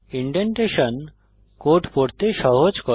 indentation code পড়তে সহজ করে